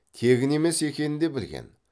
тегін емес екенін де білген